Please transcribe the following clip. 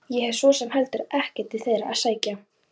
Petter, hvaða stoppistöð er næst mér?